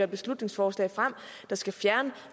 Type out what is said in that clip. beslutningsforslag der skal fjerne